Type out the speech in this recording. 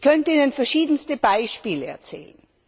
Ich könnte Ihnen verschiedenste Beispiele aufzählen.